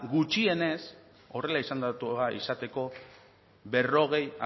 gutxienez horrela izendatua izateko berrogei